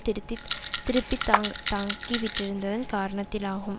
திருத்தித் திருப்பி தாங் தாங்கிவிட்டிருந்ததின் காரணத்திலாகும்